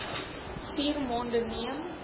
vier maande neem